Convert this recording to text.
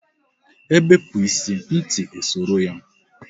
Ebepu ịsị, ntị e soro ya